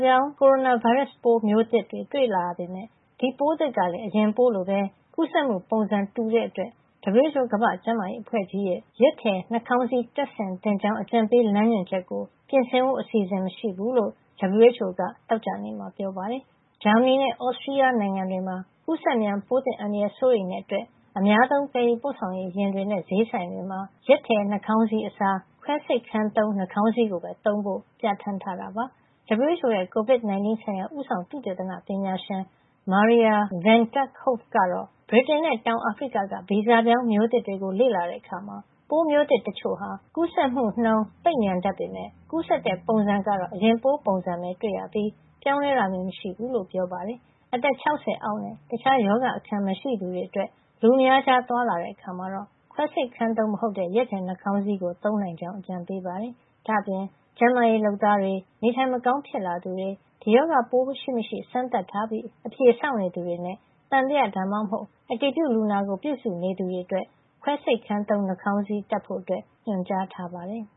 ပြောင်း ကိုရိုနာဗိုင်းရပ်စ်မျိုးသစ်တွေ တွေ့လာရပေမယ့် ဒီပိုးသစ်ကလည်း အရင်ပိုးလိုပဲ ကူးစက်မှုပုံစံတူတဲ့အတွက် WHO ကမ္ဘာ့ကျန်းမာရေးအဖွဲ့ကြီးရဲ့ ရက်ထည်နှာခေါင်းစည်း တပ်ဆင်သင့်ကြောင်း အကြံပေး လမ်းညွှန်ချက်ကို ပြင်ဆင်ဖို့ အစီအစဉ် မရှိဘူးလို့ WHO က သောကြာနေ့မှာ ပြောပါတယ်။ ဂျာမနီနဲ့ သြစတြီးယားနိုင်ငံတွေမှာတော့ ကူးစက်မြန်ပိုးသစ် အန္တရာယ်ကို စိုးရိမ်တဲ့အတွက် အများသုံး သယ်ယူပို့ဆောင်ရေးယာဉ်တွေနဲ့ ဈေးဆိုင်တွေမှာ ရက်ထည်နှာခေါင်းစည်းအစား ခွဲစိတ်ခန်းသုံး FFP2 နှာခေါင်းစည်းကိုပဲ သုံးဖို့ ပြဋ္ဌာန်းထားတာပါ။ WHO ရဲ့ COVID-19 ဆိုင်ရာ ဦးဆောင် သုတေသနပညာရှင် Maria Van Kerkhove ကတော့ ဗြိတိန်နဲ့ တောင်အာဖရိကက ဗီဇပြောင်းမျိုးသစ်တွေကို လေ့လာတဲ့အခါမှာ ပိုးမျိုးသစ်တချို့ဟာ ကူးစက်မှုနှုန်း သိပ်မြန်တတ်ပေမယ့် ကူးစက်တဲ့ပုံစံကတော့ အရင်ပိုးပုံစံပဲတွေ့ရပြီး ပြောင်းလဲတာမျိုး မတွေ့ရဘူးလို့ ပြောပါတယ်။ အသက် ၆၀ အောက်နဲ့ တခြားရောဂါအခံ မရှိသူတွေအတွက် လူအများကြား သွားလာတဲ့အခါမှာ ခွဲစိတ်ခန်းသုံးမဟုတ်တဲ့ ရက်ထည်နှာခေါင်းစည်းကို သုံးနိုင်ကြောင်း အကြံပေးပါတယ်။ ဒါ့အပြင် ကျန်းမာရေးလုပ်သားတွေ၊ နေထိုင်မကောင်း ဖြစ်လာသူတွေ၊ ဒီရောဂါပိုးရှိမရှိ စမ်းသပ်ထားပြီး အဖြေစောင့်နေသူတွေနဲ့ သံသယ ဒါမှမဟုတ် အတည်ပြုလူနာကို ပြုစုနေသူတွေအတွက်တော့ ခွဲစိတ်ခန်းသုံး နှာခေါင်းစည်းတပ်ဖို့ ညွှန်ကြားပါတယ်။